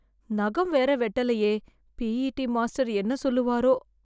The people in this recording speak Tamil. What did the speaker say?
நகம் வேற வெட்டலையே பிஇடி மாஸ்டர் என்ன சொல்லுவாரோ?